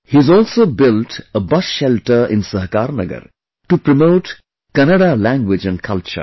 He has also built a bus shelter in Sahakarnagar to promote Kannada language and culture